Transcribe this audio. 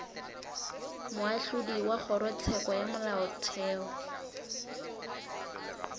moahlodi wa kgorotsheko ya molaotheo